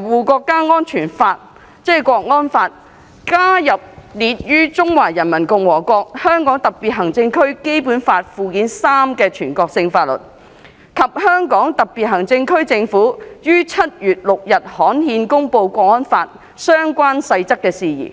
護國家安全法》加入列於《中華人民共和國香港特別行政區基本法》附件三的全國性法律，以及香港特別行政區政府在7月6日刊憲公布《港區國安法》相關細則的事宜。